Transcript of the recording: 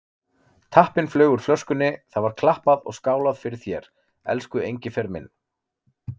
Tappinn flaug úr flöskunni, það var klappað og skálað fyrir þér, elsku Engifer minn.